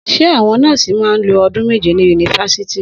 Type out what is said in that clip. Sẹ àwón nọọsi mà ń ló òdún mẹjẹ ní unifásitì?